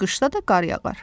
Qışda da qar yağar.